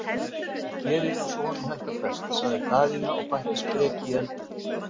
Hann gerir eins og honum hentar best, sagði Daðína og bætti spreki í eldinn.